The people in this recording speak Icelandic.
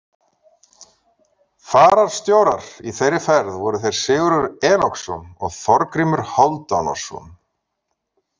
Fararstjórar í þeirri ferð voru þeir Sigurður Enoksson og Þorgrímur Hálfdánarson.